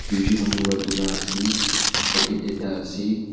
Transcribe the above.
duijun manu para dulai ase bucket ekta ase.